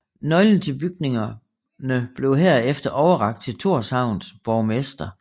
Nøglen til bygningerne blev herefter overrakt til Tórshavns borgmester